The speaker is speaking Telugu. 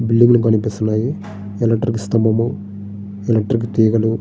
బిల్డింగ్లు కనిపిస్తున్నాయి. ఎలక్ట్రిక్ స్తంభము ఎలక్ట్రిక్ తీగలు --